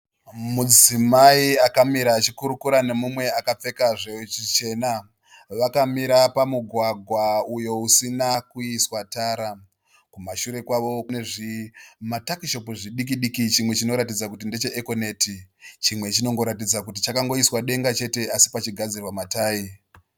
Mudzimai akamira achikurukura nemumwe akapfeka zvichena. Vakamira pamugwagwa uyo usina kuiswa tara. Kumashure kwavo kune zvimatakishopu zvidikidiki chimwe chinoratidza kuti ndecheEkoneti chimwe chinongoratidza kuti chakangoiswa denga chete asi pachigadzirwa matayi.